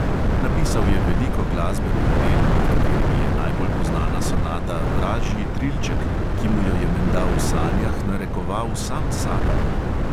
Napisal je veliko glasbenih del, med katerimi je najbolj poznana sonata vražji trilček, ki mu jo je menda v sanjah narekoval sam satan.